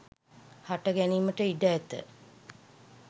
හට ගැනීමට ඉඩ ඇත